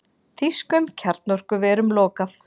Þýskum kjarnorkuverum lokað